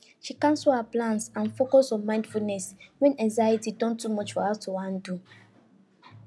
she cancel her plans and focus on mindfulness when anxiety don too much for her to handle